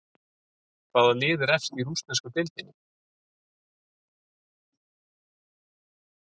Hvaða lið er efst í rússnesku deildinni?